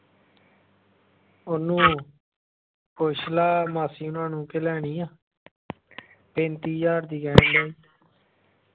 ਉਹਨੂੰ ਪੁੱਛ ਲਾ ਮਾਸੀ ਹੋਣਾ ਨੂੰ ਕਿ ਲੈਣੀ ਆ ਪੈਂਤੀ ਹਾਜ਼ਾਰ ਦੀ ਕਹਿਣ ਦਿਆ ਈ।